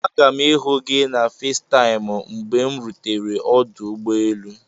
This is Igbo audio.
Aga m ihu gị na Fesitaimu mgbe m rutere ọdụ ụgbọ elu.